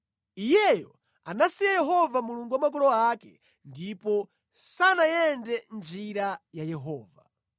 Iyeyo anasiya Yehova Mulungu wa makolo ake ndipo sanayende mʼnjira ya Yehova.